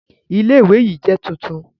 Ilé Ilé ìwé yìí jẹ́ tuntun